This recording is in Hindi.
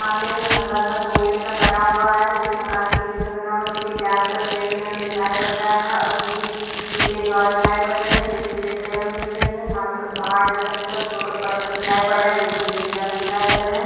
सामने एक खम्बा सा गोल सा बना हुआ है जो कि मकान के जैसा बना हुआ है जो कि ब्लैक कलर और ग्रे कलर में दिखाई पड़ रहा है और जो कि पीछे दीवार दिखाई पड रही है जो की ग्रे कलर में दिख रही है सामने कुछ पहाड़ जैसा दिख रहा है उसपे कुछ पत्थर दिखाई पड रहे है जो की ग्रे कलर में दिखाई पड रहे है।